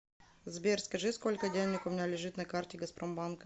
сбер скажи сколько денег у меня лежит на карте газпромбанка